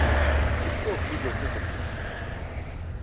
тик ток видел с этим